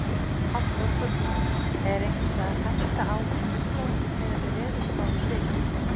Hafþór Gunnarsson: Er einhvers staðar hætta á snjóflóðum miðað við veðurspá við byggð?